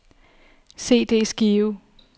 CD-skive